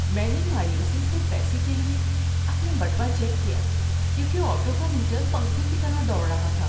میں نے مایوسی سے پیسے کے لیے اپنا بٹوہ چیک کیا کیونکہ آٹو کا میٹر پنکھے کی طرح دوڑ رہا تھا۔